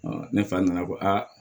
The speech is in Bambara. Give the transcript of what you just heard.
ne fa nana ko aa